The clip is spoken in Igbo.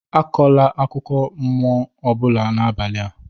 Akọkwa akụkọ ụmụ mmụọ n'abalị a!